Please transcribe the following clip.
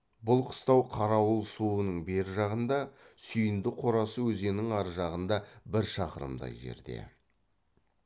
бұл қыстау қарауыл суының бер жағында сүйіндік қорасы өзеннің ар жағында бір шақырымдай жерде